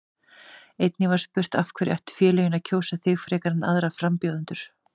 Einnig var spurt: Af hverju ættu félögin að kjósa þig frekar en aðra frambjóðendur?